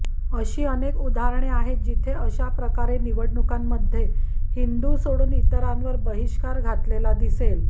अशी अनेक उदाहरणे आहेत जिथे अशा प्रकारे निवडणुकांमध्ये हिंदू सोडून इतरांवर बहिष्कार घातलेला दिसेल